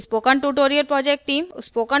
spoken tutorial project team